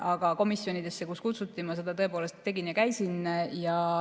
Aga komisjonides, kuhu kutsuti, ma käisin.